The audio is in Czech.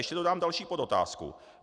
Ještě dodám další podotázku.